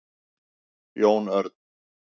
Jón Örn,